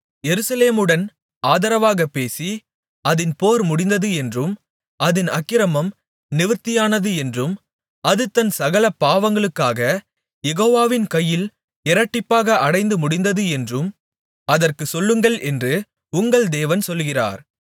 எருசலேமுடன் ஆதரவாகப் பேசி அதின் போர் முடிந்தது என்றும் அதின் அக்கிரமம் நிவிர்த்தியானது என்றும் அது தன் சகல பாவங்களுக்காக யெகோவாவின் கையில் இரட்டிப்பாக அடைந்து முடிந்தது என்றும் அதற்குச் சொல்லுங்கள் என்று உங்கள் தேவன் சொல்கிறார்